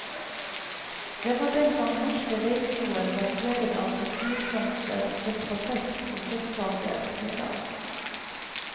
Det var den gang norske veikroer var preget av papirblomster, respatex og kjøttkaker, sier han.